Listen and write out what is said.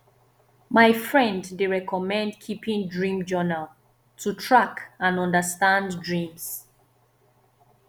my friend dey recommend keeping dream journal to track and understand dreams